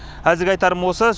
әзірге айтарым осы